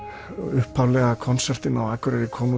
upphaflegi konsertinn á Akureyri kom